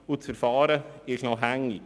das Verfahren ist noch hängig.